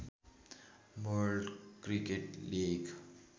world cricket league